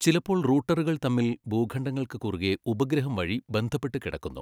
ചിലപ്പോൾ റൂട്ടറുകൾ തമ്മിൽ ഭൂഘണ്ഡങ്ങൾക്ക് കുറുകെ ഉപഗ്രഹം വഴി ബന്ധപ്പെട്ട് കിടക്കുന്നു.